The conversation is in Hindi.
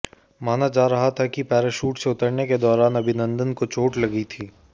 माना जा रहा था कि पैराशूट से उतरने के दौरान अभिनंदन को चोट लगी थी